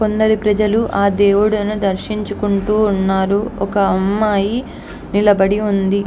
కొందరు ప్రజలు ఆ దేవుడిని దర్శించుకుంటూ ఉంటారు. ఒక అమ్మాయి నిలబడి ఉంది.